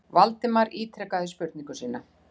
Valdimar ítrekaði spurningu sína.